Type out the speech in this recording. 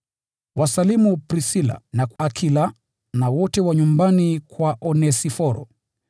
Wasalimu Prisila na Akila, na wote wa nyumbani kwa Onesiforo.